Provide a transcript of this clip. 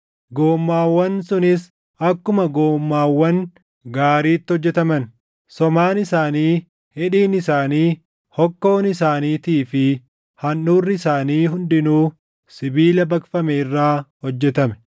Goommaawwan sunis akkuma goommaawwan gaariitti hojjetaman. Somaan isaanii, hidhiin isaanii, hokkoon isaaniitii fi handhuurri isaanii hundinuu sibiila baqfame irraa hojjetame.